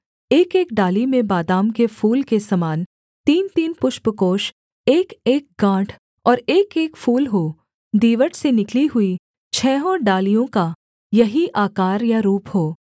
एकएक डाली में बादाम के फूल के समान तीनतीन पुष्पकोष एकएक गाँठ और एकएक फूल हों दीवट से निकली हुई छहों डालियों का यही आकार या रूप हो